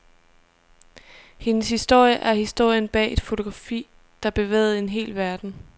Hendes historie er historien bag et fotografi, der bevægede en hel verden.